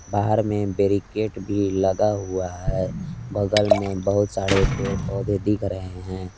बाहर में बैरीकेट भी लगा हुआ है बगल में बहुत सारे पेड़ पौधे दिख रहे हैं।